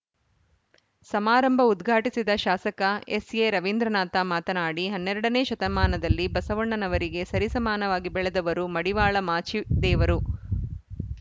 ಸಮಾರಂಭ ಉದ್ಘಾಟಿಸಿದ ಶಾಸಕ ಎಸ್‌ಎರವೀಂದ್ರನಾಥ ಮಾತನಾಡಿ ಹನ್ನೆರಡ ನೇ ಶತಮಾನದಲ್ಲಿ ಬಸವಣ್ಣನವರಿಗೆ ಸರಿ ಸಮಾನವಾಗಿ ಬೆಳೆದವರು ಮಡಿವಾಳ ಮಾಚಿದೇವರು